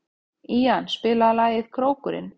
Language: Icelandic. Ían, spilaðu lagið „Krókurinn“.